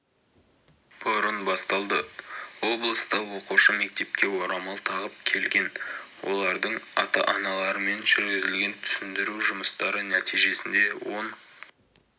бұрын басталды облыста оқушы мектепке орамал тағып келген олардың ата-аналарымен жүргізілген түсіндіру жұмыстары нәтижесінде он